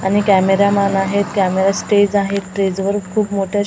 आणि कॅमेरामन आहेत camera stage आहे स्टेज वर खूप मोठ्या अशे --